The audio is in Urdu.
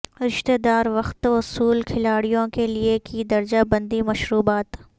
رشتہ دار وقت وصول کھلاڑیوں کے لئے کی درجہ بندی مشروبات